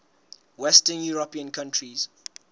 western european countries